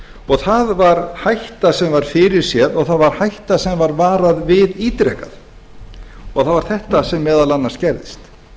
og það var hætta sem var fyrir séð og það var hætta sem var varað við ítrekað það var þetta sem meðal annars gerðist